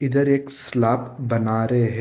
इधर एक स्लाप बना रहे है।